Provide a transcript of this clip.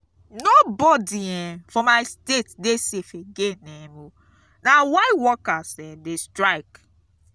nobodi um for my state dey safe again um o na why workers um dey strike.